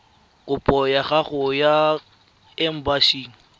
kopo ya gago kwa embasing